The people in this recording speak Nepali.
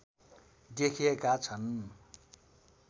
देखिएका छन्